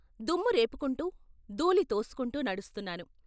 దుమ్ము రేపుకుంటూ, ధూళి తోసుకుంటూ నడుస్తున్నాను.